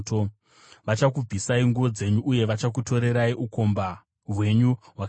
Vachakubvisai nguo dzenyu uye vachakutorerai ukomba hwenyu hwakaisvonaka.